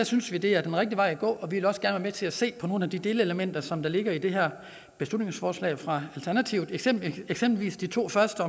synes vi det er den rigtige vej at gå og vi vil også gerne til at se på nogle af de delelementer som ligger i det her beslutningsforslag fra alternativet eksempelvis eksempelvis de to første